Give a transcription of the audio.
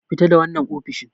Fita da wannan ofishin!